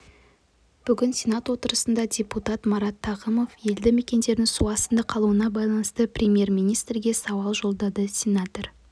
бүгін сенат отырысында депутат марат тағымов елді мекендердің су астында қалуына байланысты премьер-министрге сауал жолдады сенатор